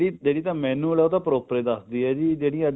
ਜਿਹੜੀ ਤਾਂ manual ਹੈ ਉਹ ਤਾਂ proper ਦੱਸਦੀ ਹੈ ਤੇ ਜਿਹੜੀ